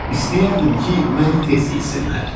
İstəyərdim ki, məni tez yesinlər.